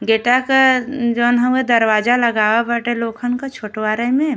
गेटा का न् जोन हवे दरवाजा लगाव बाटे लोखन् क छोटवारे में।